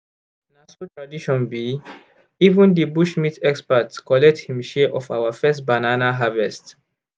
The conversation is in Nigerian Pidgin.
na so tradition be! even di bush meat expert collect him share of our first first banana harvest